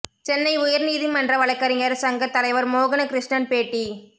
சென்னை உயர்நீதிமன்ற வழக்கறிஞர் சங்க தலைவர் மோகன கிருஷ்ணன் பேட்டி